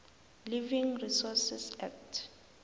living resources act